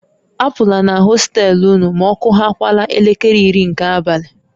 A pụla na hostel ụnụ ma ọkụhakwaala elekere iri nke abalị!